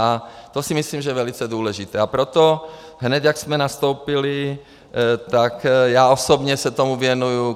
A to si myslím, že je velice důležité, a proto hned, jak jsme nastoupili, tak já osobně se tomu věnuji.